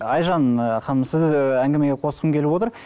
айжан ханым сізді әңгімеге қосқым келіп отыр